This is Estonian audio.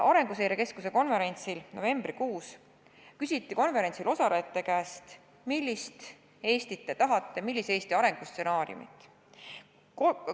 Arenguseire Keskuse konverentsil novembrikuus küsiti konverentsil osalejate käest, millist Eestit te tahate, millise Eesti arengustsenaariumi.